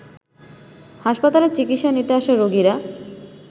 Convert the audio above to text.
হাসপাতালে চিকিৎসা নিতে আসা রোগীরা